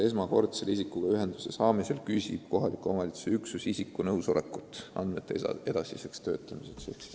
Esmakordsel isikuga ühenduse võtmisel küsib kohaliku omavalitsuse töötaja isiku nõusolekut andmete edasiseks töötlemiseks.